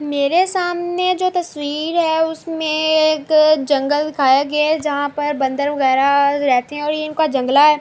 میرے سامنے جو تشویر ہے۔ اسمے تو جنگل دکھایا گیا ہے۔ جہا پر بندر وگیرہ رہتے ہے اور یہ انکا جنگلا ہے۔